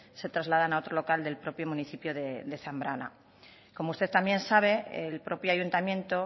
se trasladan a otro local del propio municipio de zambrana como usted también sabe el propio ayuntamiento